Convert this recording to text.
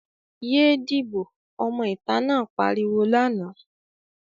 "Yé díbò!", ọmọ ìta náà pariwo lánàá.